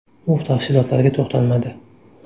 U tafsilotlarga to‘xtalmadi.